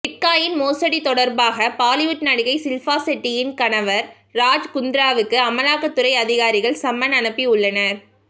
bit coin மோசடி தொடர்பாக பாலிவுட் நடிகை ஷில்பா ஷெட்டியின் கணவர் ராஜ் குந்த்ராவுக்கு அமலாக்கத்துறை அதிகாரிகள் சம்மன் அனுப்பியுள்ளனர்